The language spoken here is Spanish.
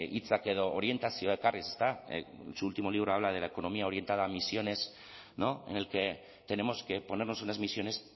hitzak edo orentazioa ekarriz ezta en su último libro habla de la economía orientada a emisiones en el que tenemos que ponernos unas emisiones